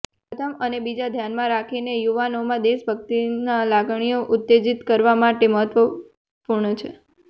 તે પ્રથમ અને બીજા ધ્યાનમાં રાખીને યુવાનોમાં દેશભક્તિના લાગણીઓ ઉત્તેજિત કરવા માટે મહત્વપૂર્ણ છે